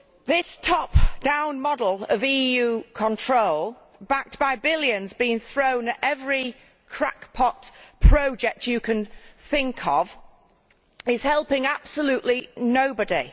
This top down model of EU control backed by billions being thrown at every crackpot project you can think of is helping absolutely nobody.